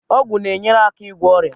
Ọgwụ na-enyere aka ịgwọ ọrịa